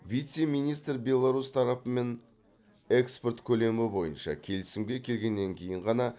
вице министр беларусь тарапымен экспорт көлемі бойынша келісімге келгеннен кейін ғана